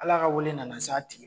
Ala ka weele nana s'a tigi ma